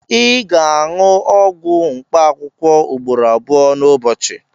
Ị ga-aṅụ ọgwụ mkpaakwụkwọ ugboro abụọ n'ụbọchị